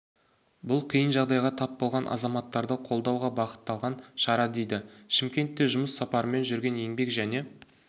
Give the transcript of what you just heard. бұл қиын жағдайға тап болған азаматтарды қолдауға бағытталған шара дейді шымкентте жұмыс сапарымен жүрген еңбек және